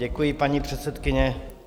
Děkuji, paní předsedkyně.